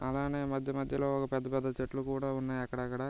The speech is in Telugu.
అలానే మధ్య మధ్యలో ఒక పెద్ద పెద్ద చెట్లు కూడా ఉన్నాయి అక్కడక్కడ.